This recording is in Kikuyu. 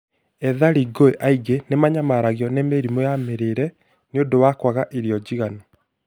Ethari ngũĩ aingĩ nĩmanyamaragio nĩ mĩrimũ ya mĩrĩre nĩũndũ wa kwaga irio njigananu